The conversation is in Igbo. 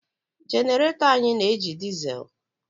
Genarato anyị na-eji disel